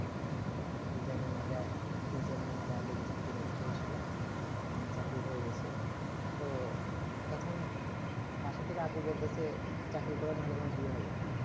design এবং যায় degree আছে সেই হিসাবে চাকরি হয়ে গেছে তো তখন মাসে থেকে আবু বলতেছে চাকরি কর নালে বিয়ে হবে না